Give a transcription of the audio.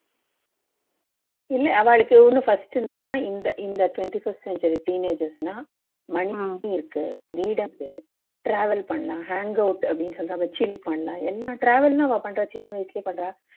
இல்ல அவாளுக்கு இன்னும் first என்னன்னா இந்த இந்த twenty first century னா இருக்கு travel பண்ணலாம் hangout அப்படின்னு சொல்லிட்டு chill பண்ணலாம் எல்லாம் travel ன்னு அவா பண்ற சின்ன விஷயம் பண்றா